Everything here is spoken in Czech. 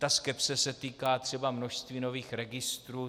Ta skepse se týká třeba množství nových registrů.